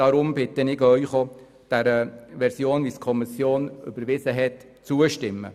Darum bitte ich Sie auch, der Version, wie sie die Kommission überweisen hat, zuzustimmen.